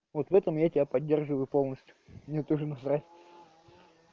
вот в этом я тебя поддерживаю полностью мне тоже насрать